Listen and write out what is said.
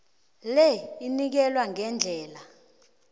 le inikelwa ngendlela